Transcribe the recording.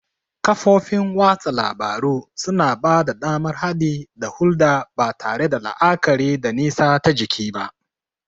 Kafofin watsa labaru suna ba da damar haɗi da hulɗa ba tare da la'akari da nisa ta jiki ba.